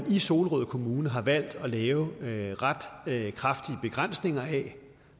i solrød kommune har man valgt at lave lave ret kraftige begrænsninger af